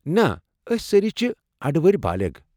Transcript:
نَہ، أسۍ سٲری چھِ اڈٕور بالیغ ۔